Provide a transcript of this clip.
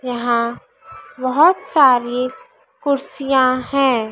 यहां बहोत सारी कुर्सियां है।